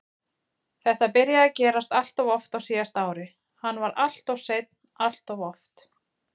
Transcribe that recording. Þetta byrjaði að gerast alltof oft á síðasta ári, hann var alltof seinn alltof oft.